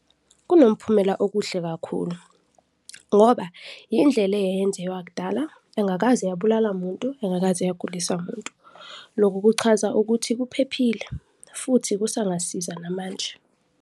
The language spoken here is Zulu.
Kunomphumela okuhle kakhulu ngoba yindlela eyayenziwa kudala engakaze yabulala muntu, engakaze yagulisa muntu. Lokhu kuchaza ukuthi kuphephile futhi kusangasiza namanje.